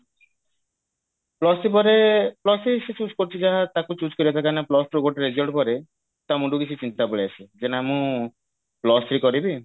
plus two ପରେ plus three ସେ choose କରୁଛି ଯାହା ତାକୁ choose କରିବା କଥା ଏଇନା plus two ର ଗୋଟେ result ପରେ ତା ମୁଣ୍ଡକୁ ଗୋଟେ ଚିନ୍ତା ପଳେଇଆସିବ ଯେ ନା ମୁଁ plus three କରିବି